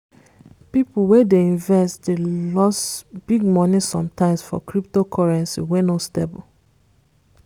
people wey dey invest dey loss big money sometimes for cyptocurrency wey no stable.